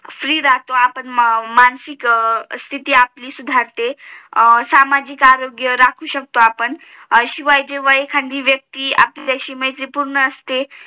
free राहतो आपण आपली मानसिक स्तिथी आपली सुधारते सामाजिक आरोग्य राखू शकतो आपण शिवाय जेव्हा एखादी व्यक्ती आपल्या शी व्यमैत्री पूर्ण असते